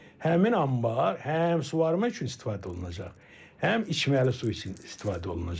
Həmin anbar həm suvarma üçün istifadə olunacaq, həm içməli su üçün istifadə olunacaq.